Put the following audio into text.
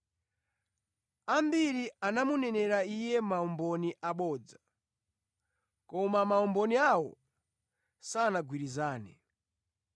Ambiri anamunenera Iye maumboni abodza, koma maumboni awo sanagwirizane.